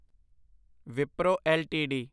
Wipro LTD